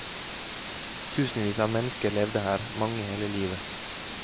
Tusenvis av mennesker levde her, mange hele livet.